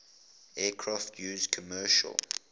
aircraft used commercial